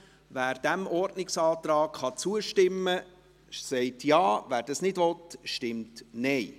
Wer diesem Ordnungsantrag zustimmen kann, stimmt Ja, wer dies nicht will, stimmt Nein.